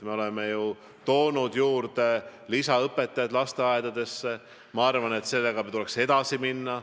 Me oleme toonud lisaõpetajaid lasteaedadesse ja ma arvan, et sellega tuleks edasi minna.